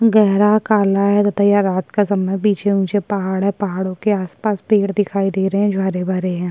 गहरा काला है बताइये रात का समय पीछे ऊचे पहाड़ हैं पहाड़ो के आस-पास पेड़ दिखाई दे रहें हैं जो हरे-भरे है।